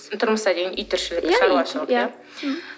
тұрмыста деген үй тіршілігі үй шаруашылығы иә мхм